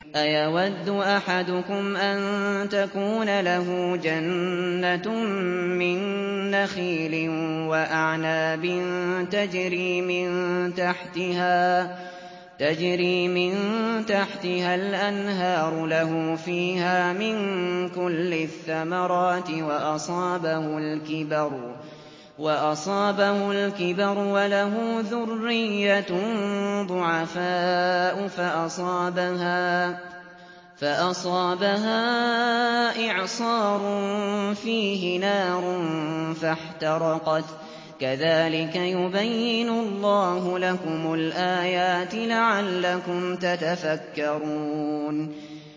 أَيَوَدُّ أَحَدُكُمْ أَن تَكُونَ لَهُ جَنَّةٌ مِّن نَّخِيلٍ وَأَعْنَابٍ تَجْرِي مِن تَحْتِهَا الْأَنْهَارُ لَهُ فِيهَا مِن كُلِّ الثَّمَرَاتِ وَأَصَابَهُ الْكِبَرُ وَلَهُ ذُرِّيَّةٌ ضُعَفَاءُ فَأَصَابَهَا إِعْصَارٌ فِيهِ نَارٌ فَاحْتَرَقَتْ ۗ كَذَٰلِكَ يُبَيِّنُ اللَّهُ لَكُمُ الْآيَاتِ لَعَلَّكُمْ تَتَفَكَّرُونَ